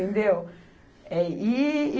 Entendeu? É e, e